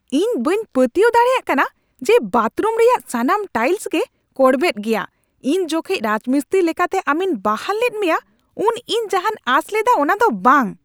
ᱤᱧ ᱵᱟᱹᱧ ᱯᱟᱹᱛᱭᱟᱹᱣ ᱫᱟᱲᱮᱭᱟᱜ ᱠᱟᱱᱟ ᱡᱮ ᱵᱟᱛᱷᱨᱩᱢ ᱨᱮᱭᱟᱜ ᱥᱟᱱᱟᱢ ᱴᱟᱭᱤᱞᱥ ᱜᱮ ᱠᱚᱲᱵᱮᱫ ᱜᱮᱭᱟ ! ᱤᱧ ᱡᱚᱠᱷᱮᱡ ᱨᱟᱡᱽᱢᱤᱥᱛᱨᱤ ᱞᱮᱠᱟᱛᱮ ᱟᱢᱤᱧ ᱵᱟᱦᱟᱞ ᱞᱮᱫ ᱢᱮᱭᱟ ᱩᱱ ᱤᱧ ᱡᱟᱦᱟᱧ ᱟᱸᱥ ᱞᱮᱫᱟ ᱚᱱᱟ ᱫᱚ ᱵᱟᱝ ᱾